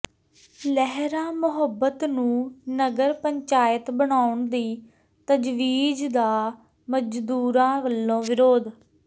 ਲਹਿਰਾ ਮੁਹੱਬਤ ਨੂੰ ਨਗਰ ਪੰਚਾਇਤ ਬਣਾਉਣ ਦੀ ਤਜਵੀਜ਼ ਦਾ ਮਜ਼ਦੂਰਾਂ ਵੱਲੋਂ ਵਿਰੋਧ